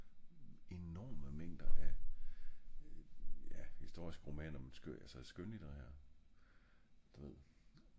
enorme mængder af ja historiske romaner men altså skønlitterærer du ved